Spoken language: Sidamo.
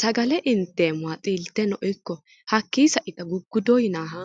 sagale inteemmoha xilteno ikko hakkii saita guguddo yinaaha.